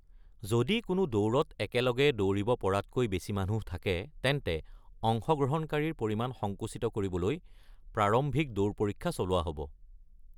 যদি কোনো দৌৰত একেলগে দৌৰিব পৰাতকৈ বেছি মানুহ থাকে তেন্তে অংশগ্ৰহণকাৰীৰ পৰিমাণ সংকুচিত কৰিবলৈ প্ৰাৰম্ভিক দৌৰ পৰীক্ষা চলোৱা হ’ব।